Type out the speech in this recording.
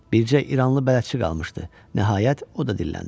Bicə İranlı bələdçi qalmışdı, nəhayət, o da dilləndi.